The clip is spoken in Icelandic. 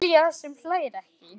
Júlía sem hlær ekki.